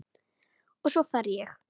Og svo fer ég.